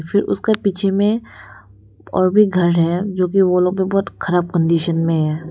फिर उसके पीछ में और भी घर है जो की वो लोग भी बहोत ख़राब कंडिशन में हैं।